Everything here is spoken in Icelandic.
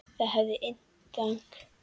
Það hafði inntak.